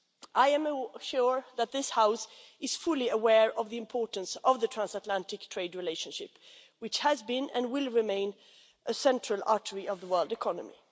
I am sure that this House is fully aware of the importance of the transatlantic trade relationship, which has been and will remain a central artery of the world economy.